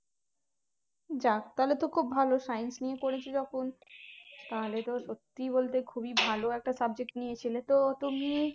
যাক তাহলে তো খুব ভালো science নিয়ে পড়েছো যখন তাহলে তো সত্যি বলতে খুবই ভালো একটা subject নিয়েছিলে তো তুমি